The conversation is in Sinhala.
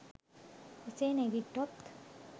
එසේ නැඟිට්ටොත්